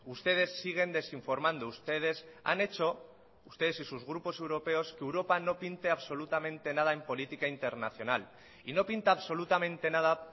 ustedes siguen desinformando ustedes han hecho ustedes y sus grupos europeos que europa no pinte absolutamente nada en política internacional y no pinta absolutamente nada